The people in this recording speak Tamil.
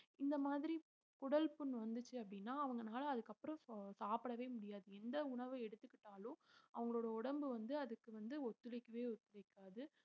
இந்த மாதிரி குடல் புண்ணு வந்துச்சு அப்டினா அவங்கனால அதுக்கு அப்புறம் சோ~ சாப்படவே முடியாது எந்த உணவு எடுத்துக்கிட்டாலும் அவங்களோட உடம்பு வந்து அதுக்கு வந்து ஒத்துழைக்கவே ஒத்துழைக்காது